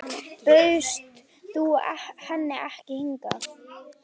Bauðst þú henni ekki hingað?